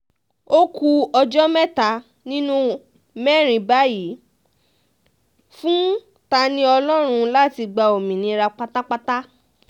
ó ku ẹjọ́ mẹ́ta nínú mẹ́rin báyìí fún ta-ni-ọlọ́run láti gba òmìnira pátápátá